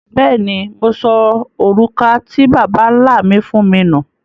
Bẹ́ẹ̀ni, Mo sọ orúkà tí Babá-nlá mi fún mi nú.